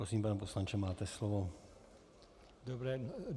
Prosím, pane poslanče, máte slovo.